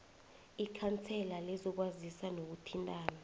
ikhansela lezokwazisa nokuthintana